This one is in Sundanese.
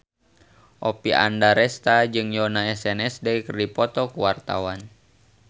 Oppie Andaresta jeung Yoona SNSD keur dipoto ku wartawan